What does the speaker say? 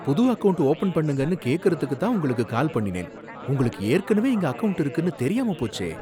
புது account open பண்ணுங்கன்னு கேக்குறதுக்குதான் உங்களுக்கு கால் பண்ணினேன், உங்களுக்கு ஏற்கனவே இங்க அக்கவுண்ட் இருக்குனு தெரியாம போச்சே